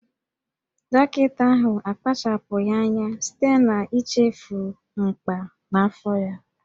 Dọkịta ahụ akpachapụghị anya site n'ichefu mkpà n'afọ ya